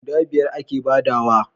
guda biyar a ke badawa